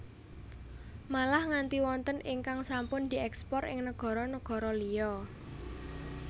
Malah nganti wonten ingkang sampun diekspor ing negoro negoro liyo